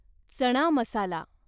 चणा मसाला